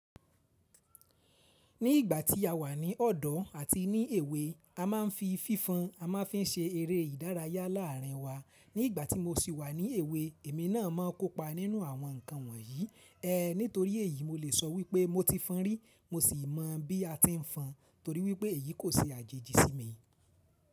Ní ìgbà tí a wà ní ọ̀dọ̀ àti ní èwe, a máa ń fi fífon, a máa ń fi ń ṣe eré ìdárayá láàárín wa. Ní ìgbà tí mo sì wà ní èwe, èmi náà mọ́ kópa nínú àwọn nǹkan wọ̀nyí. Ehn, nítorí èyí mo lè sọ wípé mo ti fọn rí mo sì mọ bí a ti ń fọn torí wípé èyí kò ṣe àjèjì sí mi.